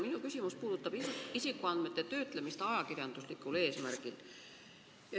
Minu küsimus puudutab isikuandmete töötlemist ajakirjanduslikul eesmärgil.